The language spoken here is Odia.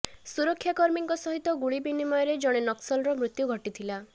ସୁରକ୍ଷାକର୍ମୀଙ୍କ ସହିତ ଗୁଳି ବିନିମୟରେ ଜଣେ ନକ୍ସଲର ମୃତ୍ୟୁ ଘଟିଥିଲା